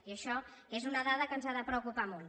i això és una dada que ens ha de preocupar molt